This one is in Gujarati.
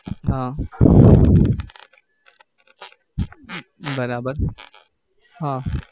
હા બરાબર હા